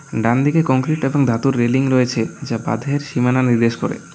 ডানদিকে কংক্রিট এবং ধাতুর রেলিং রয়েছে যা বাঁধের সীমানা নির্দেশ করে।